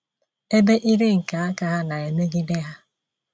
Ebe ire nke aka ha na-emegide ha